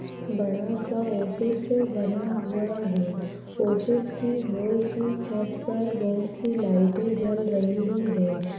बड़ा सा ऑफिस बना हुआ है। ऑफिस की होल की छत पर बहोत सी लाइटे जल रही हैं।